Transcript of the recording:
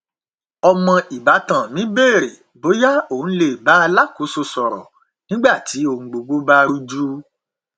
ọmọ ìbátan mi bèrè bóyá òun lè bá alákòóso sọrọ nígbà tí ohun gbogbo bá rújú